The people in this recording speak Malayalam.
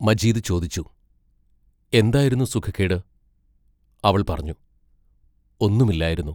മജീദ് ചോദിച്ചു: എന്തായിരുന്നു സുഖക്കേട് അവൾ പറഞ്ഞു: ഒന്നും ഇല്ലായിരുന്നു.